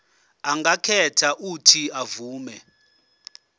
angakhetha uuthi avume